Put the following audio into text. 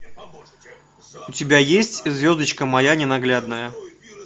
у тебя есть звездочка моя ненаглядная